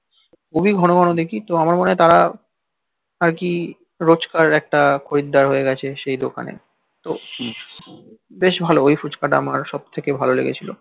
অনেক ধনবানওদেখি তো আমার মনে তারা আরকি রোজকার একটা খরিদ্দার হয়ে গেছে সেই দোকানে তো বেশ ভালো ওই ফুচকা আমার সবথেকে ভালো লেগেছিল